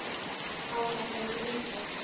Áhættan er mikil.